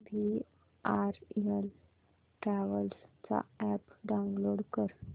VRL travels चा app download कर